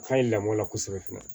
Ka ɲi lamɔ la kosɛbɛ fana